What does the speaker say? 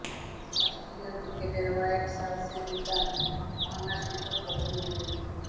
অস্ট্রেলীয় ক্রিকেটের হোয়াইট হাউসের নিদান ভাঙার সুযোগ প্রথম দিনেই